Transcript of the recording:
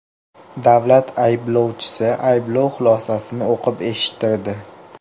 Davlat ayblovchisi ayblov xulosasini o‘qib eshittirdi.